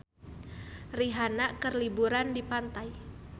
Rihanna keur liburan di pantai